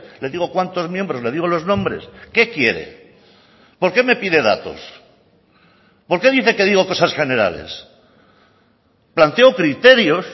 le digo cuántos miembros le digo los nombres qué quiere por qué me pide datos por qué dice que digo cosas generales planteo criterios